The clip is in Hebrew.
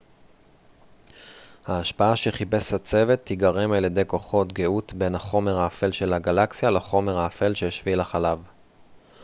ההשפעה שחיפש הצוות תיגרם על ידי כוחות גאות בין החומר האפל של הגלקסיה לחומר האפל של שביל החלב